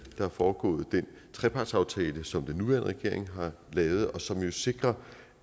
der er foregået den trepartsaftale som den nuværende regering har lavet og som jo sikrer